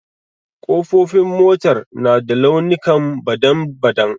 ƙofofin motar na da launikan badan-badan.